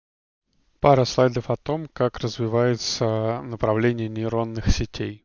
пара слайдов о том как развивается направление нейронных сетей